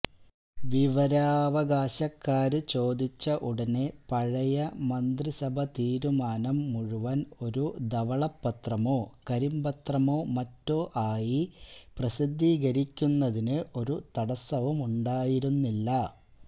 വിവരാവകാശക്കാര് ചോദിച്ച ഉടനെ പഴയ മന്ത്രിസഭാതീരുമാനം മുഴുവന് ഒരു ധവളപത്രമോ കരിമ്പത്രമോ മറ്റോ ആയി പ്രസിദ്ധീകരിക്കുന്നതിന് ഒരു തടസ്സവുമുണ്ടായിരുന്നില്ല